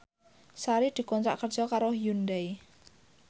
Sari dikontrak kerja karo Hyundai